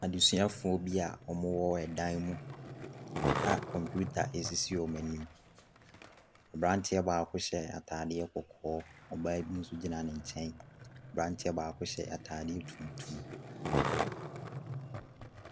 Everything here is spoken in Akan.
Adeesua foɔ bi a ɔmo wɔ ɛdan mu a kɔmpiuta ɛsisi ɔmo anim. Aberanteɛ baako hyɛ ataadeɛ kɔkɔɔ, ɔbaa nso gyina ne nkyɛn. Aberanteɛ baako hyɛ ataadeɛ tuntum.